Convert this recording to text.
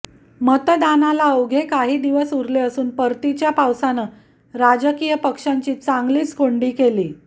मतदानाला अवघे काही दिवस उरले असून परतीच्या पावसानं राजकीय पक्षांची चांगलीचं कोंडी केली